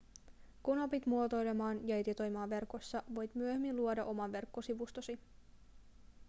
kun opit muotoilemaan ja editoimaan verkossa voit myöhemmin luoda oman verkkosivustosi